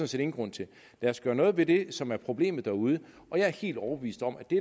set ingen grund til lad os gøre noget ved det som er problemet derude og jeg er helt overbevist om at det